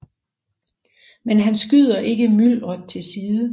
Men han skyder ikke myldret til side